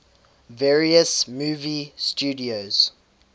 various movie studios